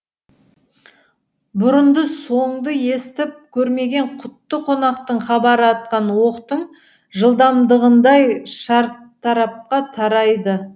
бұрын соңды естіп көрмеген құтты қонақтың хабары атқан оқтың жылдамдығындай шартарапқа тарайды